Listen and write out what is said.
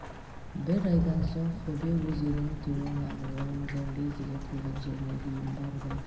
бір айдан соң хобе өзенін төмен ағып оның замбезиге құйған жеріне дейін барды